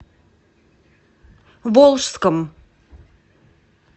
волжском